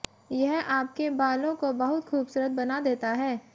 यह आपके बालों को बहुत खूबसूरत बना देता है